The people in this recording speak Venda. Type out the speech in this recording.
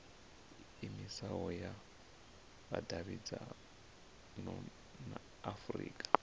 iimisaho ya vhudavhidzano ya afurika